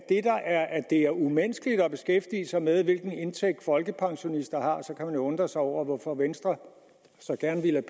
det er umenneskeligt at beskæftige sig med hvilken indtægt folkepensionister har så kan man jo undre sig over hvorfor venstre så gerne ville